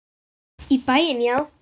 Í bæinn, já!